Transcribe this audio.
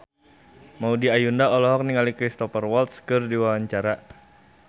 Maudy Ayunda olohok ningali Cristhoper Waltz keur diwawancara